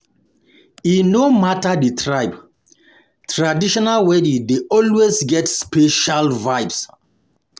E no matter the tribe, traditional wedding dey always get special vibes.